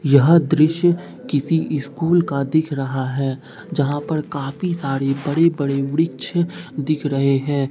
यह दृश्य किसी स्कूल का दिख रहा है। जहां पर काफी सारी बड़ी बड़ी वृक्ष दिख रहे हैं।